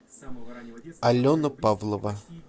алена павлова